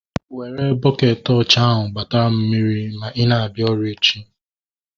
Were bukeeti ọcha ahu gbatara m mmiri ma ị na-abịa ọrụ echi!